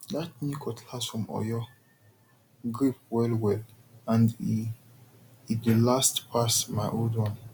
that new cutlass from oyo grip well well and e e dey last pass my old one